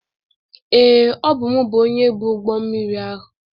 Ee, ọ bụ m bụ onye bu ụgbọ mmiri ahụ.